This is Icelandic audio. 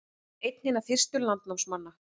Einn hinna fyrstu landnámsmanna